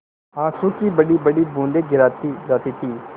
आँसू की बड़ीबड़ी बूँदें गिराती जाती थी